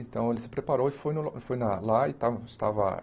Então, ele se preparou e foi no foi lá. E estávamos estava